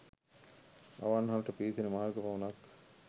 අවන්හලට පිවිසෙන මාර්ගය පමණක්